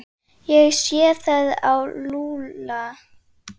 Ég sé það á Lúlla.